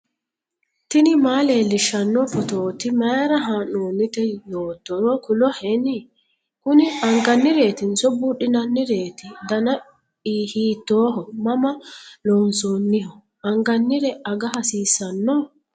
tini maa leellishshanno phootooti mayra haa'noonnite yoottoro kuloheni ? kuni angannireetinso buudhinannireeti ? dana hiitooho ? mama loonsoonniho ? angannire aga hasiissanno?